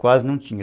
Quase não tinha.